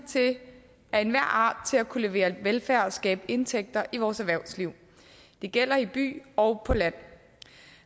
af enhver art til at kunne levere velfærd og skabe indtægter i vores erhvervsliv det gælder i by og på land